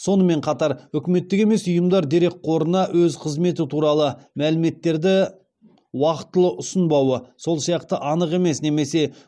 сонымен қатар үкіметтік емес ұйымдар дерекқорына өз қызметі туралы мәліметтерді уақытылы ұсынбауы сол сияқты анық емес немесе